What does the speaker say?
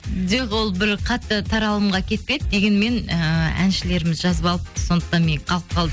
жоқ ол бір қатты таралымға кетпеді дегенмен ыыы әншілеріміз жазып алыпты сондықтан мен қалып қалдым